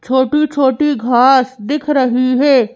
छोटी-छोटी घास दिख रही है।